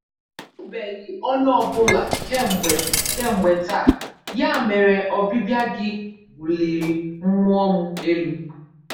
Ahụbeghị onye ọ bụla kemgbe kemgbe taa, ya mere ọbịbịa gị buliri mmụọ m elu.